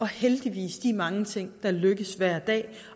heldigvis mange ting der lykkes hver dag